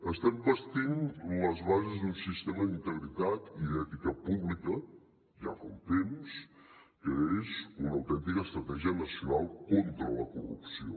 estem bastint les bases d’un sistema d’integritat i d’ètica pública ja fa un temps que és una autèntica estratègia nacional contra la corrupció